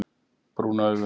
Brún augu